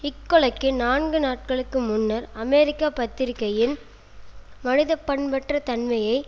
இக்கொலைக்கு நான்கு நாட்களுக்கு முன்னர் அமெரிக்க பத்திரிகையின் மனிதப்பண்பற்ற தன்மையை